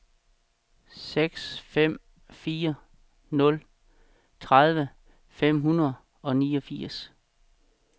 seks fem fire nul tredive fem hundrede og niogfirs